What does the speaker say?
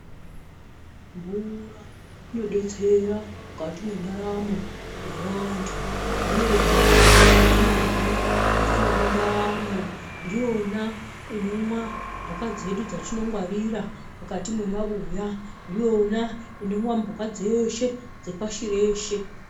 Mvura inodetsera mwukati mwendaramo yevantu, ndiyona yatinomwa kuti tiwane ndaramo, ndiyona inomwa mbuka dzedu dzatinenge tangwarira mwukati mwemabuya, ndiona inomwa mbuka dzeshe dzepashi reshe.